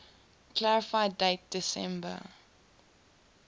clarify date december